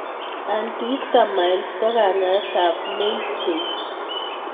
Antihistamines ko kanyaet ab mainstay